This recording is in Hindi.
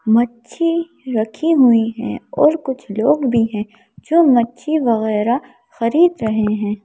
मच्छी रखी हुई हैं और कुछ लोग भी हैं जो मच्छी वगैरह खरीद रहे हैं।